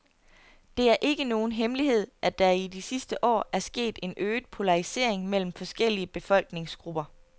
Det er ikke nogen hemmelighed, at der i de sidste år er sket en øget polarisering mellem forskellige befolkningsgrupper.